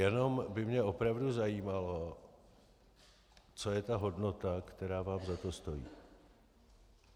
Jenom by mě opravdu zajímalo, co je ta hodnota, která vám za to stojí.